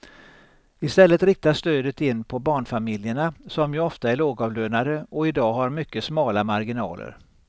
I stället riktas stödet in på barnfamiljerna som ju ofta är lågavlönade och i dag har mycket smala marginaler.